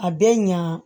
A bɛ ɲa